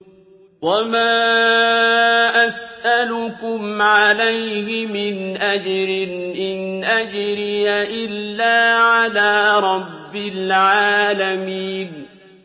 وَمَا أَسْأَلُكُمْ عَلَيْهِ مِنْ أَجْرٍ ۖ إِنْ أَجْرِيَ إِلَّا عَلَىٰ رَبِّ الْعَالَمِينَ